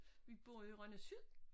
Vi bor i Rønne syd